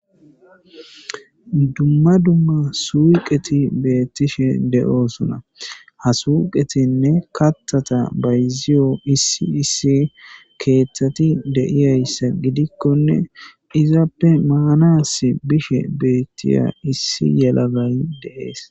Dumma dumma suuqqeti beettishe de'osona ha suuqettinne kaththata bazziyo issi issi keththati deiyayssa giddikonne izzappe manassi bishshe bettiya issi yellagay de'ess.